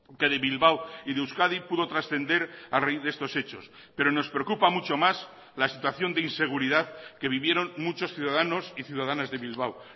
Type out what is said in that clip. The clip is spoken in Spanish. que de bilbao y de euskadi pudo trascender a raíz de estos hechos pero nos preocupa mucho más la situación de inseguridad que vivieron muchos ciudadanos y ciudadanas de bilbao